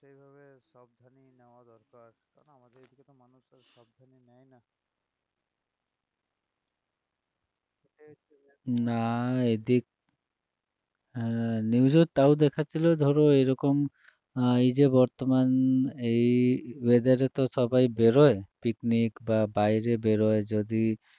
না এদিক হ্যাঁ news এ তাও দেখাচ্ছিল ধরো এরকম আহ এই যে বর্তমান এই weather এ তো সবাই বেরোয় picnic বা বাইরে বেরোয় যদি